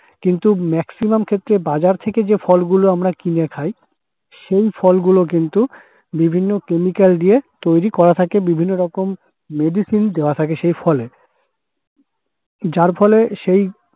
কিন্তু maximum ক্ষেত্রে বাজার থেকে যে ফলগুলো আমরা কিনে খাই সেই ফলগুলো কিন্তু বিভিন্ন chemical দিয়ে তৈরি করা থাকে বিভিন্নরকম medicine দেওয়া থাকে সেই ফলে। যার ফলে সেই